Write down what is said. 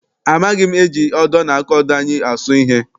Amaghị m eji odo na aka odo anyị asụ ihe.